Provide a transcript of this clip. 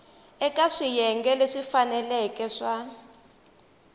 eka swiyenge leswi faneleke swa